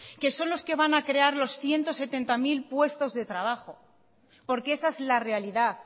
que son los que van a crear los ciento setenta mil puestos de trabajo porque esa es la realidad